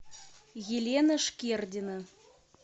елена шкердина